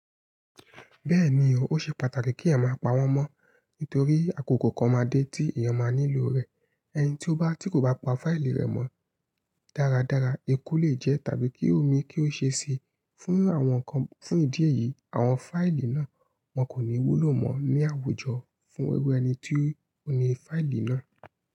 Bẹ́ẹ̀ni o, ó ṣe pàtàkì kí ẹyan má pa ọwọ mọ́ nítorí àkókò kan máa dé tí èèyàn máa nílò rẹ̀. Ẹni tí ó bá tí kò bá pa fáìlì rẹ̀ mọ dáradára, eku lè jẹ́ tàbí kí omi kí ó ṣe si. Fún àwọn kan, fún ìdí èyí, àwọn fáìlì náà wọn kò ní wúlò mọ́ ní àwùjọ fún irú ẹni tí ó ní fáìlì náà.